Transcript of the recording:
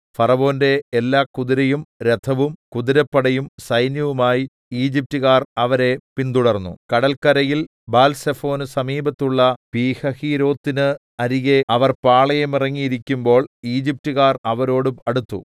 ഫറവോന്റെ എല്ലാ കുതിരയും രഥവും കുതിരപ്പടയും സൈന്യവുമായി ഈജിപ്റ്റുകാർ അവരെ പിന്തുടർന്നു കടൽക്കരയിൽ ബാൽസെഫോന് സമീപത്തുള്ള പീഹഹീരോത്തിന് അരികെ അവർ പാളയമിറങ്ങിയിരിക്കുമ്പോൾ ഈജിപ്റ്റുകാർ അവരോട് അടുത്തു